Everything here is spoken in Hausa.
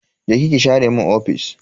Je ki ki share mun ofis.